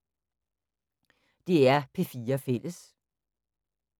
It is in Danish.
DR P4 Fælles